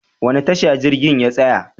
Wani tasha jirgin ya tsaya?